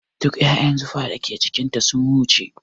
Duk ƴaƴan zufa da ke jikin ta sun wuce